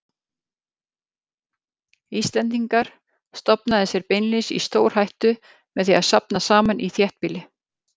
Íslendingar, stofnaði sér beinlínis í stórhættu með því að safnast saman í þéttbýli.